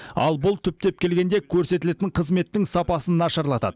ал бұл түптеп келгенде көрсетілетін қызметтің сапасын нашарлатады